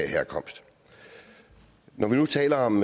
herkomst når vi nu taler om